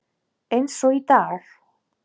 Eins og í dag.